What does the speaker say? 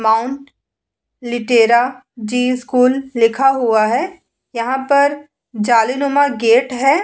Mount Litera Zee School लिखा हुआ है यहाँ पर जाली नुमा गेट है।